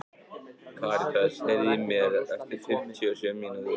Karítas, heyrðu í mér eftir fimmtíu og sjö mínútur.